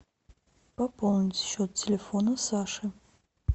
пополнить счет телефона саши